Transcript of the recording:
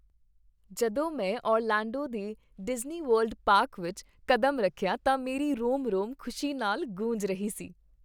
ਜਦੋਂ ਮੈਂ ਓਰਲੈਂਡੋ ਦੇ ਡਿਜ਼ਨੀਵਰਲਡ ਪਾਰਕ ਵਿੱਚ ਕਦਮ ਰੱਖਿਆ ਤਾਂ ਮੇਰੀ ਰੋਮ ਰੋਮ ਖੁਸ਼ੀ ਨਾਲ ਗੂੰਜ ਰਹੀ ਸੀ।